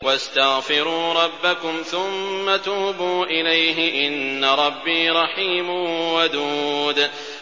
وَاسْتَغْفِرُوا رَبَّكُمْ ثُمَّ تُوبُوا إِلَيْهِ ۚ إِنَّ رَبِّي رَحِيمٌ وَدُودٌ